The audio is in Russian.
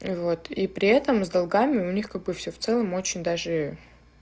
и вот и при этом с долгами у них как бы всё в целом очень даже